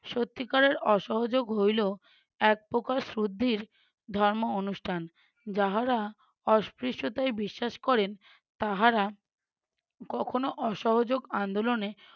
সত্যিকারের অসহযোগ হইলো একপ্রকার শুদ্ধির ধর্ম অনুষ্ঠান, যাহারা অস্পৃশ্যতায় বিশ্বাস করেন তাহারা কখনও অসহযোগ আন্দোলনে